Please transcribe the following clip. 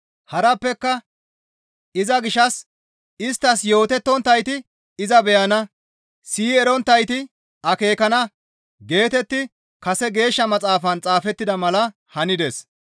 Harappeka, «Iza gishshas isttas yootetonttayti iza beyana; siyi eronttayti akeekana» geetetti kase Geeshsha Maxaafan xaafettida mala hanides.